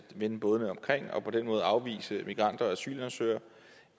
at vende bådene omkring og dermed afvise migranter og asylansøgere